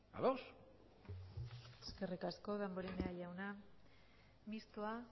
a dos eskerrik asko damborenea jauna mistoa